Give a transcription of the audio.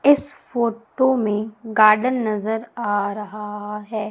इस फोटो में गार्डन नजर आ रहा है।